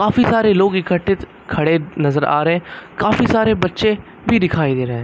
काफी सारे लोग इक्कठे खड़े नजर आ रहे है काफी सारे बच्चे भी दिखाई दे रहे--